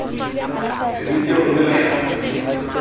phemiti ya ho romela hlapi